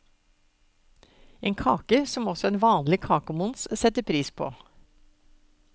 En kake som også en vanlig kakemons setter pris på.